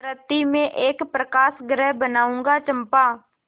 मृति में एक प्रकाशगृह बनाऊंगा चंपा